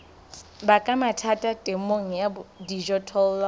baka mathata temong ya dijothollo